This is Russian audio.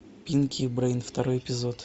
пинки и брейн второй эпизод